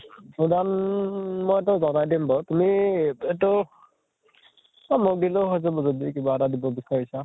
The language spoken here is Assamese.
কিমান, মই তোমাক জনাই দিম বাৰু । তুমি এইটো, অʼ মোক দিলেও হʼব, যদি তুমি কিবা এটা দিব বিচাৰিছা